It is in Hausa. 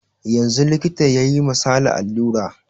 Yanzun likita yayi ma sale alura